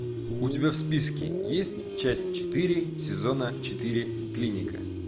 у тебя в списке есть часть четыре сезона четыре клиника